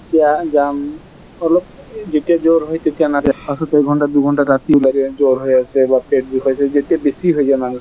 এতিয়া যাম অলপ, যতিয়া জ্বৰ হয় তেতিয়া নাযায় , পাছত একঘন্টা দুইঘন্টা জ্বৰ হৈ আছে বা পেট বিষ হৈ আছে, যেতিয়া বেছি হৈ যায় মানুহ জনৰ